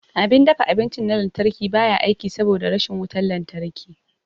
Abin dafa abinci na lantarki ba ya aiki saboda rashin wutar lantarki.